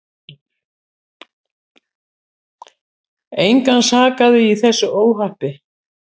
Engan sakaði í þessu óhappi.